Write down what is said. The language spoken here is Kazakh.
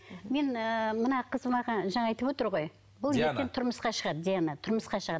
мен ыыы мына қыз жаңа айтып отыр ғой бұл ертең тұрмысқа шығады диана тұрмысқа шығады